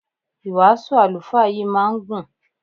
Ìwàásù àlùfáà yìí máa ń gùn.